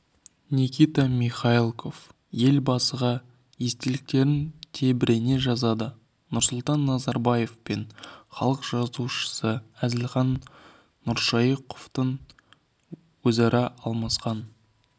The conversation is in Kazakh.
никита михалков елбасыға естеліктерін тебірене жазады нұрсұлтан назарбаев пен халық жазушысы әзілхан нұршайықовтың өзара алмасқан